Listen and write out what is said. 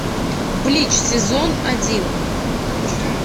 блич сезон один